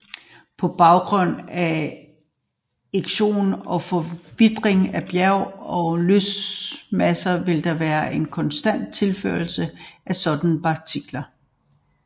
På grund af erosion og forvitring af bjerg og løsmasser vil der være en konstant tilførsel af sådanne partikler